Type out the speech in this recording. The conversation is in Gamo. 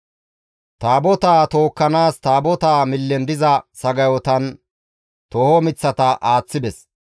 Taabotaa tookkanaas Taabotaa millen diza sagayotan tooho miththata aaththides.